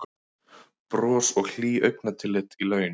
Bros og hlý augnatillit í laun